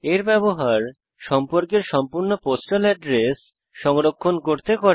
এর ব্যবহার সম্পর্কের সম্পূর্ণ পোস্টাল এড্রেস সংরক্ষণ করতে করে